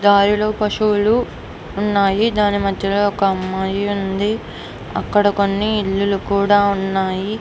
రాయులు పశువులు ఉన్నాయి. దాని మధ్యలోనే ఒక అమ్మాయి ఉంది. అక్కడ కొన్ని ఇల్లు కూడా ఉన్నాయి.